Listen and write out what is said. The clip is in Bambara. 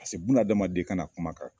Paseke buna adamaden ka na kuma ka tɛmɛ.